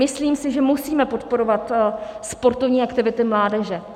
Myslím si, že musíme podporovat sportovní aktivity mládeže.